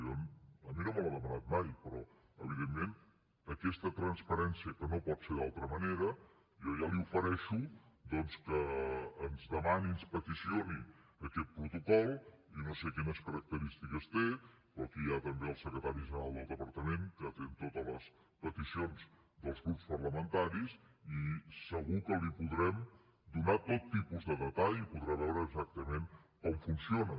jo a mi no me l’ha demanat mai però evidentment aquesta transparència que no pot ser d’altra manera jo ja li ofereixo doncs que ens demani ens peticioni aquest protocol jo no sé quines característiques té però aquí hi ha també el secretari general del departament que atén totes les peticions dels grups parlamentaris i segur que li podrem donar tot tipus de detall i podrà veure exactament com funciona